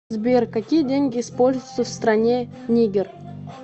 сбер какие деньги используются в стране нигер